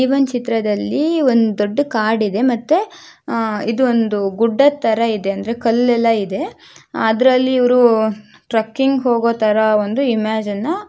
ಈ ಒಂದು ಚಿತ್ರದಲ್ಲಿ ಒಂದು ದೊಡ್ಡ ಕಾಡಿದೆ ಮತ್ತೆ ಇದು ಒಂದು ಗುಡ್ಡ ತರ ಇದೆ ಅಂದ್ರೆ ಕಲ್ಲೆಲ್ಲ ಇದೆ ಅದರಲ್ಲಿ ಇವರು ಟ್ರೆಕ್ಕಿಂಗ್ ಹೋಗೋ ತರ ಒಂದು ಇಮೇಜನ್ನ --